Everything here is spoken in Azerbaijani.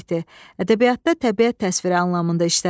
Ədəbiyyatda təbiət təsviri anlamında işlədilir.